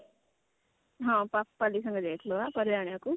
ହଁ ପାପାଲି ସାଙ୍ଗରେ ଯାଇଥିଲୁ ବା ପାରିବା ଆଣିବାକୁ